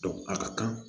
a ka kan